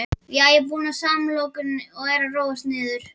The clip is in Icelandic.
Jæja, búin með samlokuna og er að róast niður.